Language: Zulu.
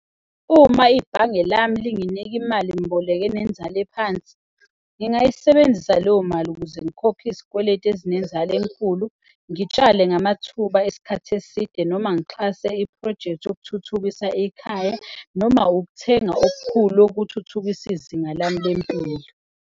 Uma ibhange lami linginika imali-mboleko enenzalo ephansi, ngingayisebenzisa leyomali ukuze ngikhokhe izikweletu ezinenzalo enkulu, ngitshale namathuba esikhathi eside noma ngixhase iphrojekthi yokuthuthukisa ekhaya noma ukuthenga okukhulu okuthuthukisa izinga lami lempilo.